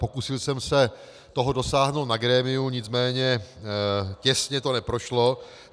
Pokusil jsem se toho dosáhnout na grémiu, nicméně těsně to neprošlo.